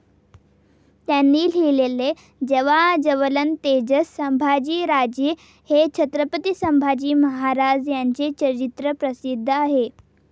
त्यांनी लिहिलेले 'ज्वाज्वलंतेजस सांभाजीराजे' हे छत्रपती संभाजी महाराज यांचे चरित्र प्रसिद्ध आहे.